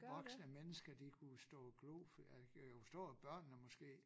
Voksne mennesker de kunne stå og glo for jeg jeg kan forstå at børnene måske